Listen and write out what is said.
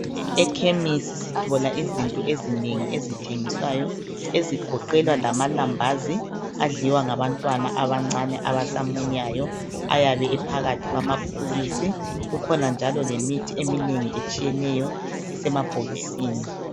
Ekhemisi sithola izinto ezinengi ezithengiswayo ezigoqela lamalambazi adliwa ngabantwana abancane abasamunyayo ayabe ephakathi kwamabhokisi. Kukhona njalo lemithi eminengi etshiyeneyo esemabhokisini.